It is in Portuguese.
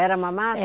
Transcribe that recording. Era uma mata? É